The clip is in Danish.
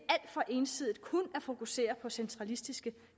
for ensidigt kun at fokusere på centralistiske